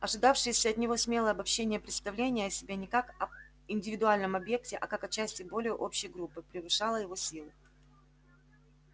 ожидавшееся от него смелое обобщение-представление о себе не как об индивидуальном объекте а как о части более общей группы превышало его силы